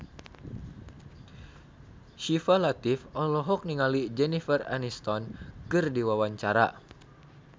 Syifa Latief olohok ningali Jennifer Aniston keur diwawancara